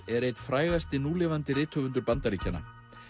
er einn frægasti núlifandi rithöfundur Bandaríkjanna